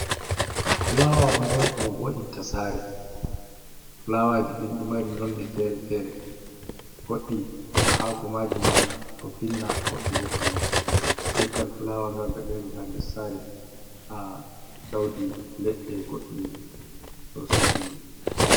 Fulawa hunɗe on ɗum vo’inta sare ,fulawaji ɗinɗi mari nonne fere-fere goɗɗi hako majima ɗo pinna goɗɗi ɓo pinnata, leggal fulawa gal ga dari ha nɗer sare ha ɗauɗi leɗɗe goɗɗi ɗo suɗɗi.